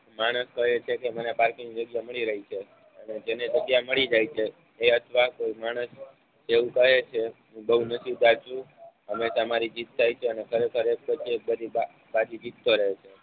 માણશ કહે છે કે મને પાર્કિંગ જગ્યા મળી રહે છે અને જેને જગ્યા મળી જાય છે એ અથવા કોઈ માણશ એવું કહે છે. ઉદભવ નથી પ્રાચ્યું હવે તમારી જીત થાય છે અને ખરેખર પ્રત્યેક ગરીબા પાછી જીતતો રહેજે